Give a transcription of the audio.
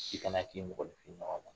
Si kana k'i mɔgɔ ɲɔgɔn ma